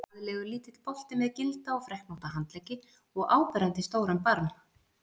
Glaðlegur, lítill bolti með gilda og freknótta handleggi og áberandi stóran barm.